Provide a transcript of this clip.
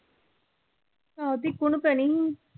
ਆਹੋ ਤੇ ਇੱਕੋ ਨੂੰ ਪੈਣੀ।